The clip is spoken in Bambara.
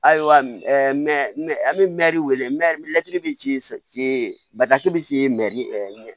Ayiwa an bɛ mɛɛri bi ci ci batigi bɛ ci